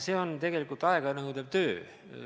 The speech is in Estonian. See on tegelikult aega nõudev töö.